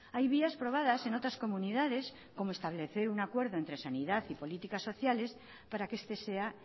hay vías probadas en otras comunidades como establecer un acuerdo entre sanidad y políticas sociales para que este sea